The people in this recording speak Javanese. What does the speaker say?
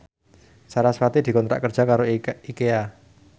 sarasvati dikontrak kerja karo Ikea